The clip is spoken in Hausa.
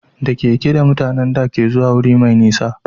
Da keke mutanen da ke zuwa guri mai nisa